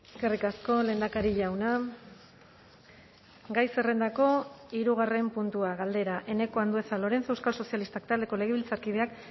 eskerrik asko lehendakari jauna gai zerrendako hirugarren puntua galdera eneko andueza lorenzo euskal sozialistak taldeko legebiltzarkideak